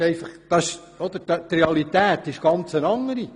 Die Realität ist eine ganz Andere!